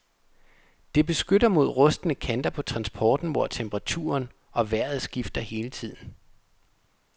Det beskytter mod rustne kanter på transporten hvor temperaturen og vejret skifter hele tiden.